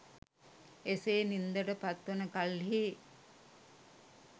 එසේ නින්දට පත්වන කල්හි